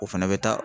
O fana bɛ taa